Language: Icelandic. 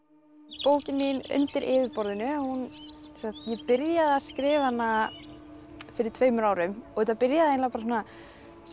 bókin mín undir yfirborðinu ég byrjaði að skrifa hana fyrir tveimur árum og þetta byrjaði sem